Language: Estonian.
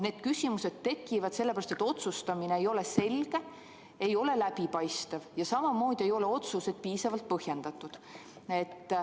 Need küsimused tekivad sellepärast, et otsustamine ei ole selge, ei ole läbipaistev, ja otsused ei ole piisavalt põhjendatud.